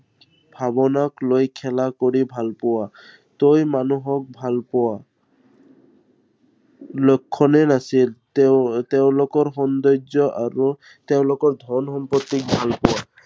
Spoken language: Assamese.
ভাৱনাক লৈ খেলা কৰি ভাল পোৱা। তই মানুহক ভাল পোৱা লক্ষণেই নাছিল, তেওঁ~তেওঁলোকৰ সৌন্দৰ্য আৰু তেওঁলোকৰ ধন সম্পত্তিক ভাল পোৱা।